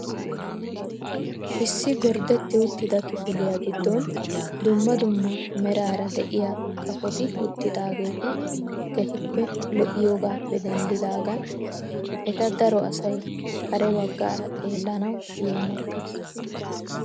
Issi gorddetti uttida kifiliyaa giddon dumma dumma meraara de'iyaa kafoti uttidaageti keehippe lo"iyoogappe denddidaagan eta daro asay kare baggaara xeellanawu yeemottees.